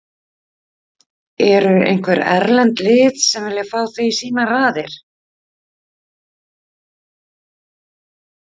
Eru einhver erlend lið sem vilja fá þig í sínar raðir?